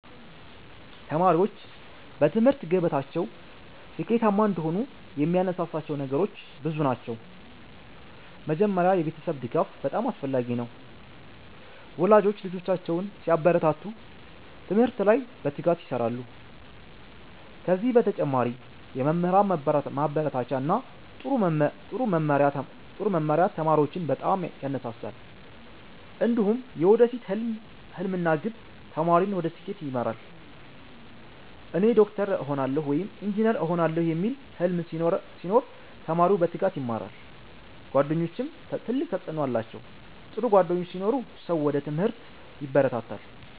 ተማሪዎች በትምህርት ገበታቸው ስኬታማ እንዲሆኑ የሚያነሳሳቸው ነገሮች ብዙ ናቸው። መጀመሪያ የቤተሰብ ድጋፍ በጣም አስፈላጊ ነው፤ ወላጆች ልጆቻቸውን ሲያበረታቱ ትምህርት ላይ በትጋት ይሰራሉ። ከዚህ በተጨማሪ የመምህራን ማበረታቻ እና ጥሩ መመሪያ ተማሪዎችን በጣም ያነሳሳል። እንዲሁም የወደፊት ሕልም እና ግብ ተማሪን ወደ ስኬት ይመራል። “እኔ ዶክተር እሆናለሁ” ወይም “ኢንጂነር እሆናለሁ” የሚል ሕልም ሲኖር ተማሪው በትጋት ይማራል። ጓደኞችም ትልቅ ተጽዕኖ አላቸው፤ ጥሩ ጓደኞች ሲኖሩ ሰው ወደ ትምህርት ይበረታታል።